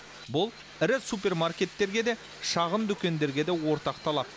бұл ірі супермаркеттерге де шағын дүкендерге де ортақ талап